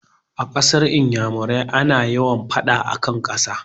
A kasar iyamurai ana yawa faɗan akan ƙasa